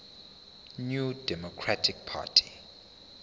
new democratic party